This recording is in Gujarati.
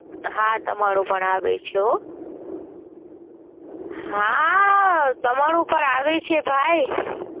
હા. તમારો પણ આવે છે હો. હાઆ આ આ તમારો પણ આવે છે ભઈ.